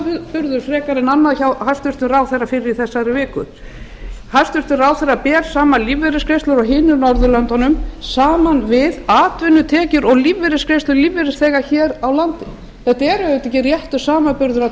samanburður frekar en annað hjá hæstvirtum ráðherra fyrr í þessari viku hæstvirtur ráðherra ber saman lífeyrisgreiðslur annars staðar á norðurlöndum saman við atvinnutekjur og lífeyrisgreiðslur lífeyrisþega hér á landi það er auðvitað ekki réttur samanburður að